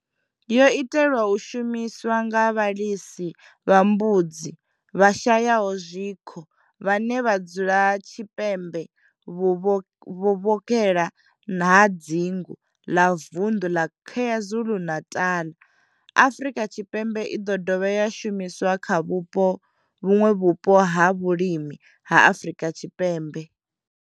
Yo itelwa u shumiswa nga vhalisa vha mbudzi vhashayaho zwikho vhane vha dzula tshipembe vhuvhokhela ha dzingu ḽa vundu ḽa KwaZulu-Natal, Afrika Tshipembe i ḓo dovha ya shumiswa kha vhuṋwe vhupo ha vhulimi ha Afrika Tshipembe.